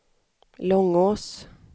Långås